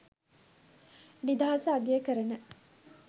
නිදහස අගය කරන